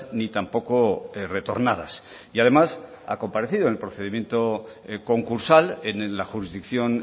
ni tampoco retornadas y además ha comparecido en el procedimiento concursal en la jurisdicción